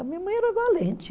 A minha mãe era valente.